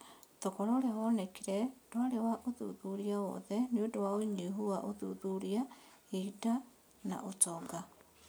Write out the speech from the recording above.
Thogora ũrĩa wonekire ndwari wa ũthuthuria wothe nĩũndũ wa ũnyihu wa ũthuthuria, ihinda na ũtonga.